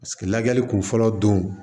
Paseke lajɛli kun fɔlɔ don